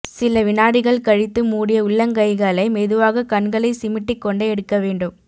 சில வினாடிகள் கழித்து மூடிய உள்ளங்கைகளை மெதுவாக கண்களை சிமிட்டிக் கொண்டே எடுக்க வேண்டும்